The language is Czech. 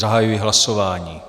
Zahajuji hlasování.